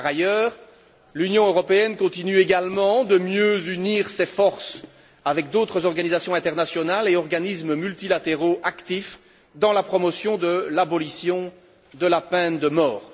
Par ailleurs, l'Union européenne continue également de mieux unir ses forces avec d'autres organisations internationales et organismes multilatéraux actifs dans la promotion de l'abolition de la peine de mort.